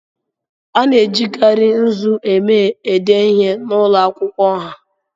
A na-ejikarị nzu eme ede ihe n'ụlọ akwụkwọ ọha.